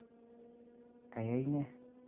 Kayai nee?